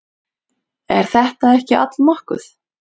Er þetta ekki allnokkuð?